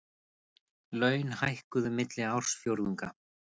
Laun hækkuðu milli ársfjórðunga